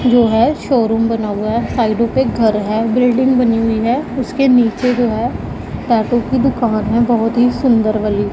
जो है शोरूम बना हुआ है साइडों पे घर है बिल्डिंग बनी हुई है उसके नीचे जो है टैटू की दुकान है बहुत ही सुन्दर वाली--